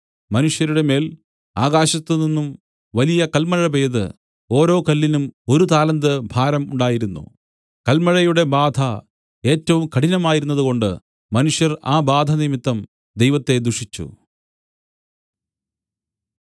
മനുഷ്യരുടെമേൽ ആകാശത്ത് നിന്നും വലിയ കൽമഴ പെയ്ത് ഓരോ കല്ലിനും ഒരു താലന്ത് ഭാരം ഉണ്ടായിരുന്നു കൽമഴയുടെ ബാധ ഏറ്റവും കഠിനമായിരുന്നതുകൊണ്ട് മനുഷ്യർ ആ ബാധനിമിത്തം ദൈവത്തെ ദുഷിച്ചു